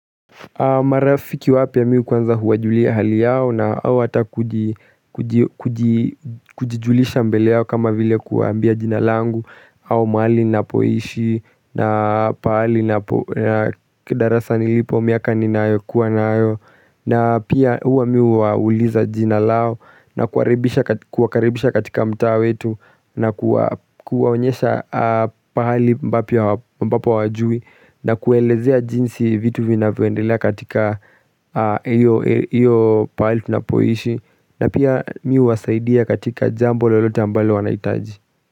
Marafiki wapiya mi kwanza huwajulia hali yao na hao hata kuji kuji Kujijulisha mbele yao kama vile kuambia jinalangu au maali na poishi na pali na kedarasa nilipo miaka ninayo kuwa nayo na pia huwa mi huwa uliza jina lao na kuwakaribisha katika mtao wetu na kuwaonyesha pali ambapo hawajui na kuelezea jinsi vitu vinavendela katika iyo pali tunapoishi na pia mi wasaidia katika jambo lolote ambalo wanaitaji.